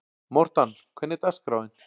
Mortan, hvernig er dagskráin?